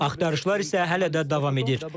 Axtarışlar isə hələ də davam edir.